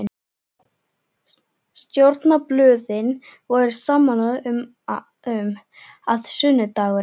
Stjórnarblöðin voru sammála um, að sunnudagurinn